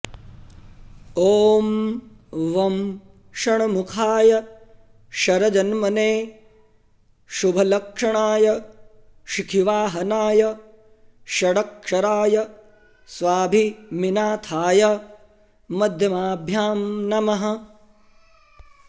ॐ वं षण्मुखाय शरजन्मने शुभलक्षणाय शिखिवाहनाय षडक्षराय स्वामिनाथाय मध्यमाभ्यां नमः